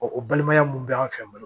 o balimaya mun bɛ an fɛ